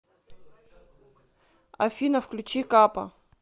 афина включи капа